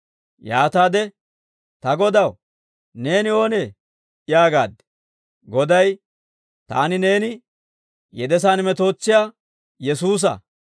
«Yaataade, ‹Ta Godaw, neeni oonee?› yaagaad. «Goday, ‹Taani neeni yedesaan metootsiyaa Yesuusa.